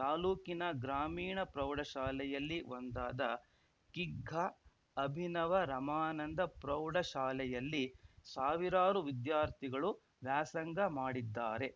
ತಾಲೂಕಿನ ಗ್ರಾಮೀಣ ಪ್ರೌಢಶಾಲೆಯಲ್ಲಿ ಒಂದಾದ ಕಿಗ್ಗಾ ಅಭಿನವ ರಮಾನಂದ ಪ್ರೌಢಶಾಲೆಯಲ್ಲಿ ಸಾವಿರಾರು ವಿದ್ಯಾರ್ಥಿಗಳು ವ್ಯಾಸಾಂಗ ಮಾಡಿದ್ದಾರೆ